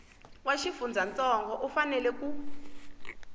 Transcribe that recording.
wa xifundzantsongo u fanela ku